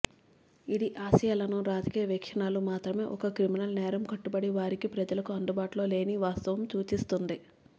ఇది ఆశ్రయాలను రాజకీయ వీక్షణలు మాత్రమే ఒక క్రిమినల్ నేరం కట్టుబడి వారికి ప్రజలకు అందుబాటులో లేని వాస్తవం సూచిస్తుంది